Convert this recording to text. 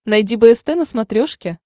найди бст на смотрешке